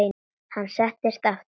Hann settist aftur.